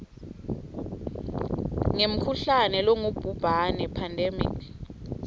ngemkhuhlane longubhubhane pandemic